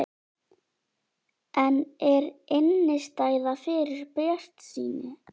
En er innistæða fyrir bjartsýni?